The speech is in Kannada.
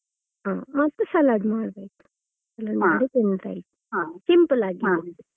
ಹ ಮತ್ತೆ salad ಮಾಡ್ಬೇಕು ಮಾಡಿ ತಿಂದ್ರೆ ಆಯ್ತು simple ಆಗಿ ಮಾಡಿದ್ದು.